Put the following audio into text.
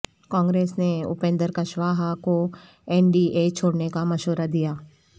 کانگریس نے اپندر کشواہا کو N D A چھوڑنے کا مشورہ دیا